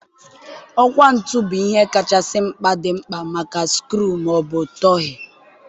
ọkwá ntụ bụ ihe kachasị mkpa dị mkpa maka skru ma ọ bụ tọghee.